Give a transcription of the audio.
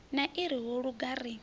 na ri ho luga ri